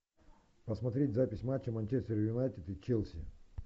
посмотреть запись матча манчестер юнайтед и челси